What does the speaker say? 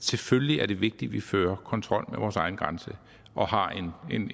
selvfølgelig er vigtigt at vi fører kontrol med vores egne grænser og har